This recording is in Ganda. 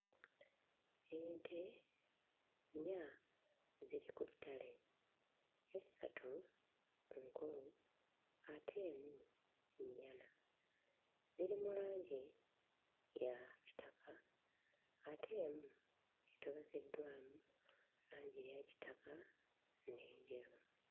Ente nnya ziri ku ttale essatu nkulu, ate emu nnyana, ziri mu langi ya kitaka ate emu etobekeddwamu langi eya kitaka n'enjeru.